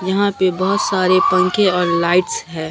यहां पे बहोत सारे पंखे और लाइट्स हैं।